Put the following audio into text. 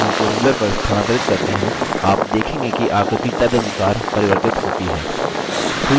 यदि आप इन चिन्हों को ruler पर स्थानांतरित करते हैं आप देखेंगे कि आकृति तदनुसार परिवर्तित होती है